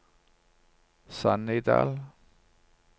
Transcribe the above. Sannidal